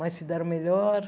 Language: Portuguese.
Mas se deram melhor.